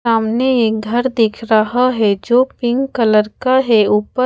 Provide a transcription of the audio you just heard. सामने एक घर दिख रहा है जो पिंक कलर का हैं उप्पर--